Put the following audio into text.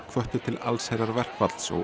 hvöttu til allsherjarverkfalls og